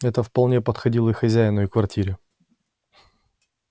это вполне подходило и хозяину и квартире